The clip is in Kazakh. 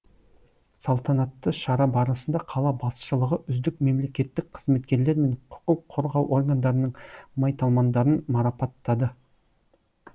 салтанатты шара барысында қала басшылығы үздік мемлекеттік қызметкерлер мен құқық қорғау органдарының майталмандарын марапаттады